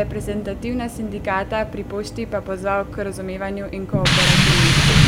reprezentativna sindikata pri Pošti pa pozval k razumevanju in kooperativnosti.